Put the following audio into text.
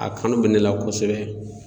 A kanu bɛ ne la kosɛbɛ